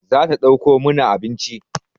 Za ta ɗauko mana abinci